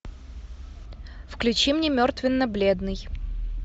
включи мне мертвенно бледный